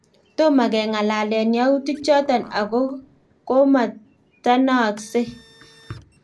Tomokengalen yautik choton ago komatanaaksei